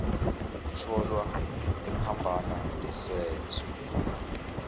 otholwa ephambana nesenzo